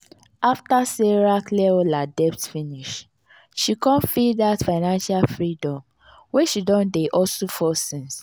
after sarah clear all her debt finish she con feel that financial freedom wey she don dey hustle for since.